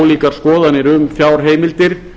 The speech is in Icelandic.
ólíkar skoðanir um fjárheimildir